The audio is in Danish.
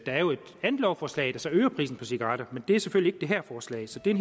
andet lovforslag der så øger prisen på cigaretter men det er selvfølgelig det her forslag så det er